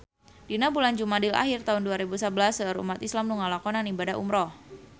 Dina bulan Jumadil ahir taun dua rebu sabelas seueur umat islam nu ngalakonan ibadah umrah